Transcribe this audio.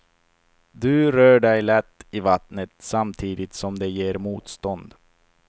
Du rör dig lätt i vattnet samtidigt som det ger motstånd.